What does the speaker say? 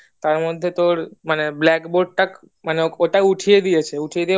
তার মধ্যে তার মানে black board টা মানে উঠিয়ে দিয়েছে